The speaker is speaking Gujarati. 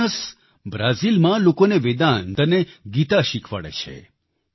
જોનસ બ્રાઝિલમાં લોકોને વેદાંત અને ગીતા શીખવાડે છે